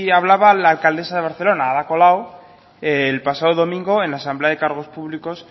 hablaba la alcaldesa de barcelona ada colau el pasado domingo en la asamblea de cargos públicos